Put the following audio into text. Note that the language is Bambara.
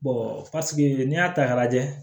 n'i y'a ta k'a lajɛ